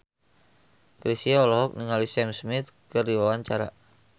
Chrisye olohok ningali Sam Smith keur diwawancara